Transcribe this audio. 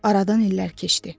Aradan illər keçdi.